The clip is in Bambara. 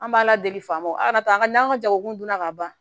An b'a ladeg'a ma a kana taa n'an ka jago donna ka ban